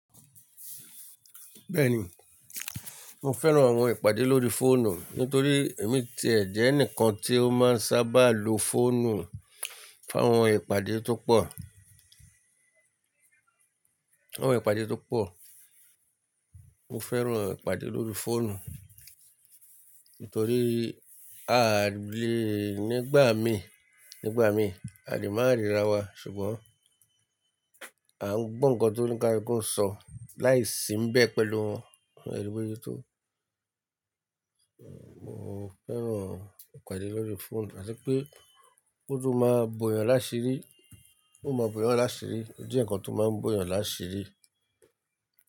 Bẹ́ẹ̀ ni, mo fẹ́ran àwọn ìpàdé lórí fóònù nítorí èmi ti ẹ̀ jẹ́ ẹnìkan tí ó máa ń sábà lo fóònù fún àwọn ìpàdé tó pọ̀. Àwọn ìpàdé tó pọ̀. Mo fẹ́ran ìpàdé lórí fóònù nítorí a lè nígbà mii, nígbà mii, a lè máa ríra wa ṣùgbọ́n à ń gbọ́ nǹkan tó ní kári kún ṣọ láìsí ń bẹ pẹ̀lú wọn. Eri bose tó. Mo fẹ́ran ìpàdé lórí fóònù àti pé ó tún máa ń bo èèyàn lásìrí, ó máa ń bo èèyàn lásìrí, ó jẹ́ nǹkan tó máa ń bo èèyàn lásìrí.